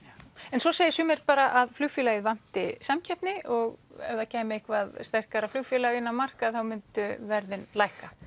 en svo segja sumir bara að flugfélagið vanti samkeppni og ef það kæmi eitthvað sterkara flugfélag inn á markað þá myndu verðin lækka